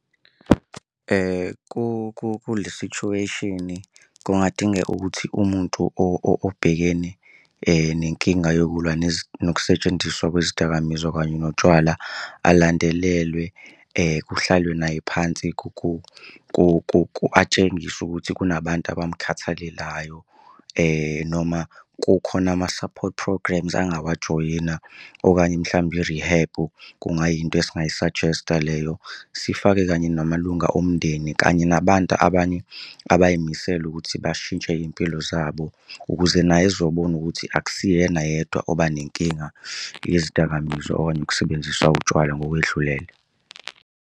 Kule situation-i kungadingeka ukuthi umuntu obhekene nenkinga yokulwa nokusetshenziswa kwezidakamizwa kanye notshwala alandelelwe kuhlalwe naye phansi atshengiswe ukuthi kunabantu abamkhathalelayo noma kukhona ama-support programmes angawajoyina. Okanye mhlawumbe i-rehab kungayinto esingayi-suggest-a leyo. Sifake kanye namalunga omndeni kanye nabantu abanye abay'misele ukuthi bashintshe iy'mpilo zabo ukuze naye ezobona ukuthi akusiyena yedwa oba nenkinga yezidakamizwa okanye ukusebenzisa utshwala ngokwedlulele.